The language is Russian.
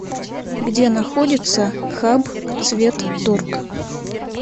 где находится хабцветторг